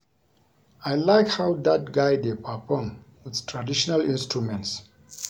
I like how dat guy dey perform with traditional instruments